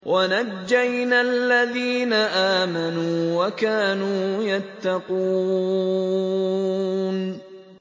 وَنَجَّيْنَا الَّذِينَ آمَنُوا وَكَانُوا يَتَّقُونَ